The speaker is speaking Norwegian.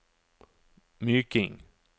Myking